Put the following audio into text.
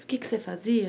E o que é que você fazia?